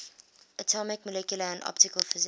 atomic molecular and optical physics